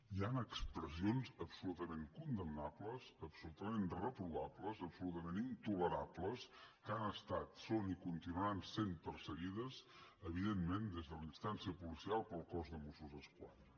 hi han expressions absolutament condemnables absolutament reprovables absolutament intolerables que han estat són i continuaran sent perseguides evidentment des de la instància policial pel cos de mossos d’esquadra